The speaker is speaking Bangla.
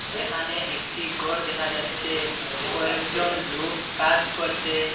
এখানে একটি গর দেখা যাচ্ছে কয়েকজন লোক কাজ করসে ।